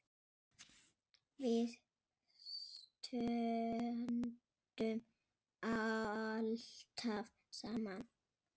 Við stöndum alltaf saman